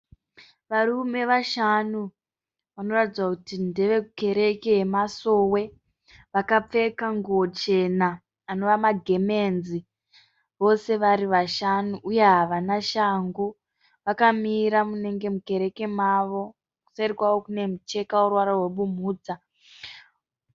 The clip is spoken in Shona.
Varume vashanu vanoratidza kuti ndevekukereke yeMasowe. Vakapfeka nguwo chena anova magemenzi ,vose vari vashanu. Uye Havana shangu vakamira mukereke mavo kuseri kwavo kunenge kune ruvara runenge rwe bumhudza .